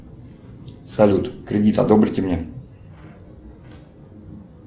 салют кредит одобрите мне